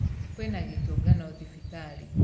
Kwĩna gĩtungano thibitarĩ.